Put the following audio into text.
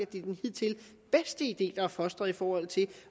det er den hidtil bedste idé der er fostret i forhold til